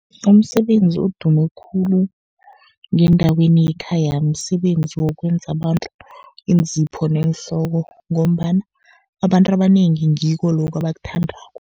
Umsebenzi odume khulu ngendaweni yekhaya, msebenzi wokwenza abantu iinzipho neenhloko, ngombana abantu abanengi ngikho lokho abakuthandako.